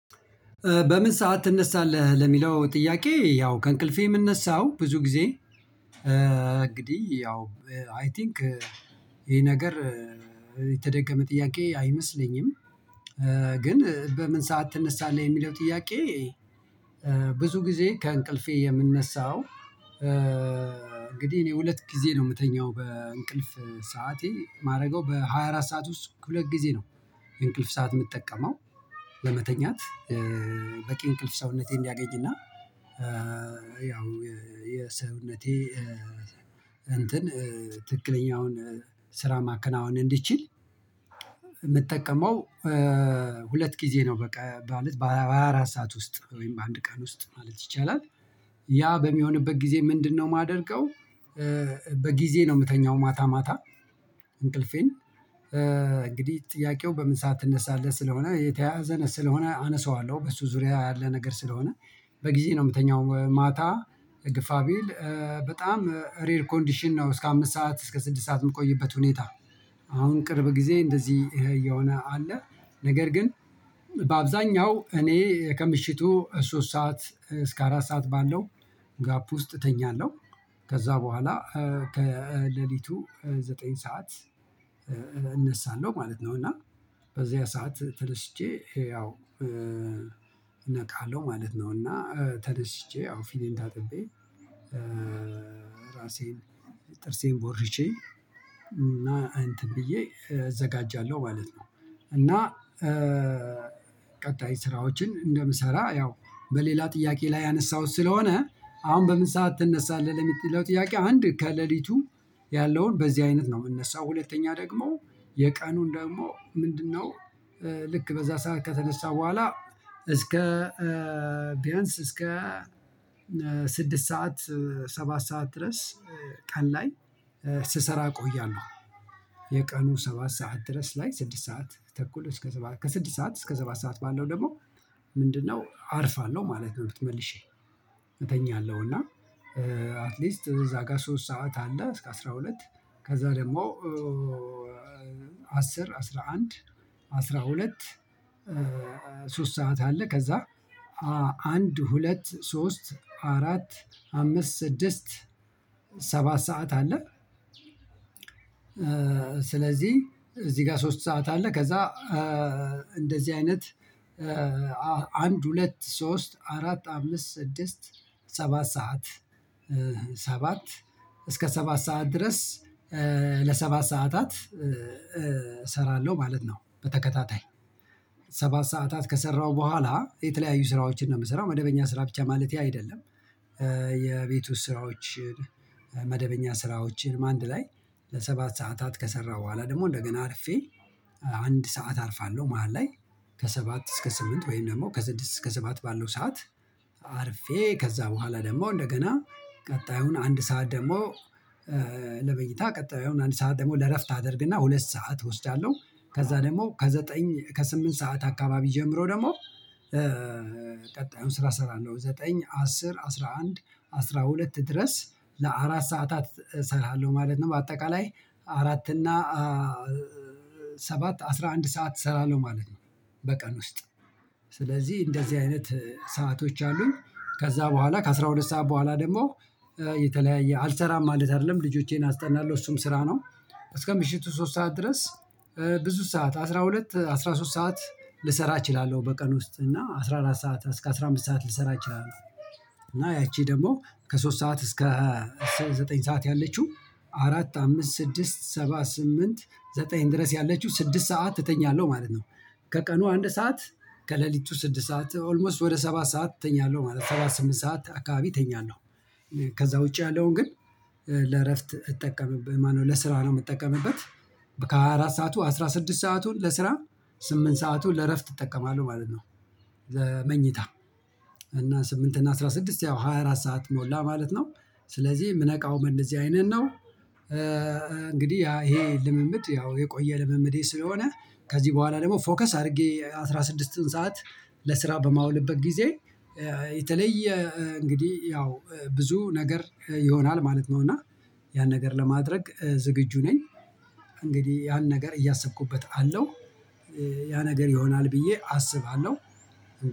በምን ሰዓት ትነሳለህ? ለሚለው ጥያቄ ያው ከእንቅልፌ የምነሳው ብዙ ጊዜ እንግዲህ ያው አይ ቲንክ ይሄ ነገር የተደገመ ጥያቄ አይመስለኝም ግን በምን ሰዓት ትነሳለህ የሚለው ጥያቄ ብዙ ጊዜ ከእንቅልፌ የምነሳው እንግዲህ እኔ ሁለት ጊዜ ነው የምተኛው በእንቅልፍ ሰዓቴ የማደርገው በሃያ አራት ሰዓት ውስጥ ሁለት ጊዜ ነው እንቅልፍ ሰዓት የምጠቀመው ለመተኛት በቂ እንቅልፍ ሰውነቴን እንዲያገኝና ያው የሰውነቴ እንትን ትክክለኛውን ስራ ማከናወን እንድችል የምጠቀመው ሁለት ጊዜ ነው በቃ ማለት በሃያ አራት ሰዓት ውስጥ ወይም በአንድ ቀን ውስጥ ማለት ይቻላል ያ በሚሆንበት ጊዜ ምንድነው የማደርገው በጊዜ ነው የምተኛው ማታ ማታ እንቅልፌን። እንግዲህ ጥያቄው በምን ሰዓት ትነሳለህ ስለሆነ የተያዘን ስለሆነ አነሳዋለሁ በሱ ዙሪያ ያለ ነገር ስለሆነ በጊዜ ነው የምተኛው ማታ ግፋ ቢል በጣም ሬር ኮንዲሽን ነው እስከ አምስት ሰዓት እስከ ስድስት ሰዓት የምቆይበት ሁኔታ አሁን ቅርብ ጊዜ እንደዚህ የሆነ አለ። ነገር ግን በአብዛኛው እኔ ከምሽቱ ሶስት ሰዓት እስከ አራት ሰዓት ባለው ጋፕ ውስጥ እተኛለሁ ከዛ በኋላ ከሌሊቱ ዘጠኝ ሰዓት እነሳለሁ ማለት ነው። እና በዚያ ሰዓት ተነስቼ ያው ነቃለሁ ማለት ነው እና ተነስቼ ያው ፊቴን ታጥቤ ራሴን ጥርሴን ቦርቼ እና እንትን ብዬ እዘጋጃለሁ ማለት ነው እና ቀጣይ ስራዎችን እንደምሰራ ያው በሌላ ጥያቄ ላይ ያነሳሁት ስለሆነ አሁን በምን ሰዓት ትነሳለህ ለምትለው ጥያቄ አንድ ከሌሊቱ ያለውን በዚህ አይነት ነው የምነሳው። ሁለተኛ ደግሞ የቀኑን ደግሞ ምንድነው ልክ በዛ ሰዓት ከተነሳ በኋላ እስከ ቢያንስ እስከ ስድስት ሰዓት ሰባት ሰዓት ድረስ ቀን ላይ ስሰራ እቆያለሁ የቀኑ ሰባት ሰዓት ድረስ ላይ ስድስት ሰዓት ተኩል እስከ ስድስት ሰዓት እስከ ሰባት ሰዓት ባለው ደግሞ ምንድነው አርፋለሁ ማለት ነው ተመልሼ። እተኛለሁ እና አትሊስት እዛ ጋር ሶስት ሰዓት አለ እስከ አስራ ሁለት ከዛ ደግሞ አስራ አንድ አስራ ሁለት ሶስት ሰዓት አለ ከዛ አንድ ሁለት ሶስት አራት አምስት ስድስት ሰባት ሰዓት አለ። ስለዚህ እዚህ ጋር ሶስት ሰዓት አለ ከዛ እንደዚህ አይነት አንድ ሁለት ሶስት አራት አምስት ስድስት ሰባት ሰዓት ሰባት እስከ ሰባት ሰዓት ድረስ ለሰባት ሰዓታት እሰራለሁ ማለት ነው በተከታታይ። ሰባት ሰዓታት ከሰራሁ በኋላ የተለያዩ ስራዎችን ነው የምሰራው መደበኛ ስራ ብቻ ማለቴ አይደለም የቤቱ ስራዎችን መደበኛ ስራዎችንም አንድ ላይ ለሰባት ሰዓታት ከሰራሁ በኋላ ደግሞ እንደገና አርፌ አንድ ሰዓት አርፋለሁ መሃል ላይ ከሰባት እስከ ስምንት ወይም ደግሞ ከስድስት እስከ ሰባት ባለው ሰዓት አርፌ ከዛ በኋላ ደግሞ እንደገና ቀጣዩን አንድ ሰዓት ደግሞ ለመኝታ ቀጣዩን አንድ ሰዓት ደግሞ ለእረፍት አድርግና ሁለት ሰዓት እወስዳለሁ ከዛ ደግሞ ከዘጠኝ ከስምንት ሰዓት አካባቢ ጀምሮ ደግሞ ስራ እሰራለሁ ዘጠኝ አስር አስራ አንድ አስራ ሁለት ድረስ ለአራት ሰዓታት እሰራለሁ ማለት ነው በአጠቃላይ አራት እና ሰባት አስራ አንድ ሰዓት እሰራለሁ ማለት ነው በቀን ውስጥ ስለዚህ እንደዚህ አይነት ሰአቶች አሉኝ ከዛ በኋላ ከአሥራ ሁለት ሰዓት በኋላ ደግሞ የተለያየ አልሰራም ማለት አይደለም ልጆቼን አስጠናለሁ እሱም ስራ ነው እስከ ምሽቱ ሶስት ሰዓት ድረስ ብዙ ሰዓት አስራ ሁለት አስራ ሶስት ሰዓት ልሰራ እችላለሁ በቀን ውስጥ እና አስራ አራት ሰዓት እስከ አስራ አምስት ሰዓት ልሰራ እችላለሁ እና ያቺ ደግሞ ከሶስት ሰዓት እስከ ሰባ ዘጠኝ ሰዓት ያለችው አራት አምስት ስድስት ሰባት ስምንት ዘጠኝ ድረስ ያለችው ስድስት ሰዓት እተኛለህ ማለት ነው። ከቀኑ አንድ ሰዓት ከሌሊቱ ስድስት ሰዓት ኦልሞስት ወደ ሰባት ሰዓት ተኛለሁ ማለት ነው ሰባት ስምንት ሰዓት አካባቢ ተኛለሁ ከዛ ውጪ ያለውን ግን ለእረፍት እጠቀምበት ማነው ለስራ ነው የምጠቀምበት ከአራት ሰዓቱ አስራ ስድስት ሰአቱን ለስራ ስምንት ሰአቱን ለእረፍት እጠቀማለሁ ማለት ነው ለመኝታ እና ስምንት እና አስራ ስድስት ያው ሃያ አራት ሰዓት ሞላ ማለት ነው ስለዚህ ምነቃው በንደዚህ አይነት ነው እንግዲህ ያ ይሄ ልምምድ ያው የቆየ ልምምዴ ስለሆነ ከዚህ በኋላ ደግሞ ፎከስ አድርጌ አስራ ስድስትን ሰዓት ለስራ በማውልበት ጊዜ የተለየ እንግዲህ ያው ብዙ ነገር ይሆናል ማለት ነው እና ያን ነገር ለማድረግ ዝግጁ ነኝ። እንግዲህ ያን ነገር እያሰብኩበት አለው። ያ ነገር ይሆናል ብዬ አስባለሁ።